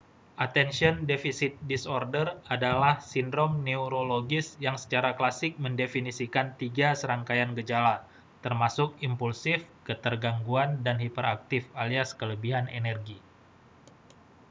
attention deficit disorder adalah sindrom neurologis yang secara klasik mendefinisikan tiga serangkaian gejala termasuk impulsif ketergangguan dan hiperaktif alias kelebihan energi